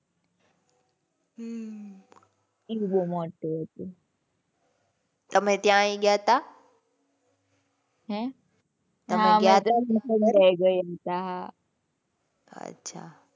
હમ્મ . એ બહુ મોટું હતું. તમે ત્યાંય ગયા હતા? હે? તમે ગયા હતા? અચ્છા.